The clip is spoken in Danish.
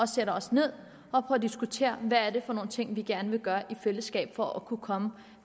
sætter os ned og får diskuteret hvad det er for nogle ting vi gerne vil gøre i fællesskab for at kunne komme